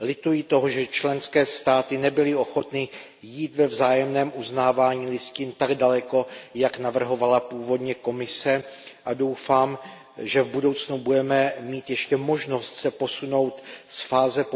Lituji toho, že členské státy nebyly ochotny jít ve vzájemném uznávání listin tak daleko, jak navrhovala původně Komise, a doufám, že v budoucnu budeme mít ještě možnost se posunout z fáze